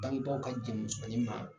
Danto a ka jɔnmusonin ma